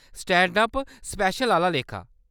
Stand up special आह्‌ला लेखा।